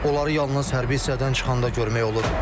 Onları yalnız hərbi hissədən çıxanda görmək olur.